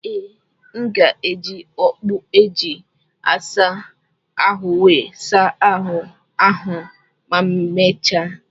Ee, m ga-eji okpu e ji asa ahụ wee saa ahụ ma emechaa.